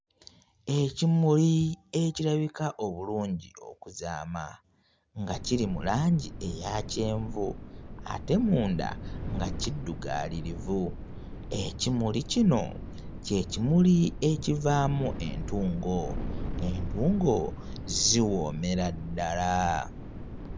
Ekimuli ekirabika obulungi okuzaama nga kiri mu langi eya kyenvu ate munda nga kiddugaalirivu. Ekimuli kino kye kimuli ekivaamu entungo, entungo ziwoomera ddala.